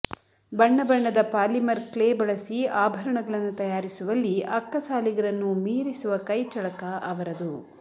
ಬಣ್ಣ ಬಣ್ಣದ polymer clay ಬಳಸಿ ಆಭರಣಗಳನ್ನು ತಯಾರಿಸುವಲ್ಲಿ ಅಕ್ಕಸಾಲಿಗರನ್ನೂ ಮೀರಿಸುವ ಕೈಚಳಕ ಅವರದು